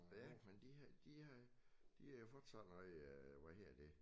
Ja men de har det har de har fået så meget øh hvad hedder det